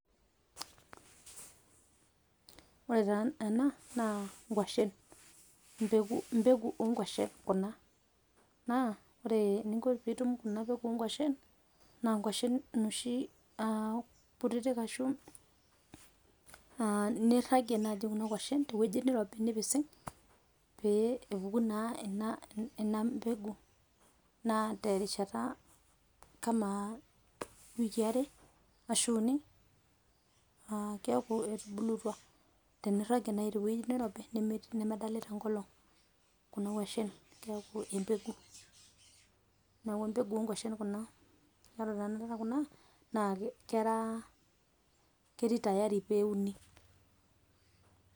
Ore taa ena naa ng'washen, mbeku mbeku o ng'washen kuna naa ore eninko pee itum kuna peku o kwashen naa ng'washen inoshi kutitik arashu a niragie naaji kuna kwashen te wueji nirobi nipising' pee epuku naa ena pegu. Naa terishata kama wikii are ashu uni keeku etuulutua teniragie nai tewueji nirobi nemedolita enkolong' kuna kwashen keeku embegu. Neeku embegu o ng'washen kuna kore tenakata kuna naa kera ketii tayari pee euni.